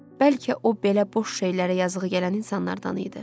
Bəlkə o belə boş şeylərə yazığı gələn insanlardan idi?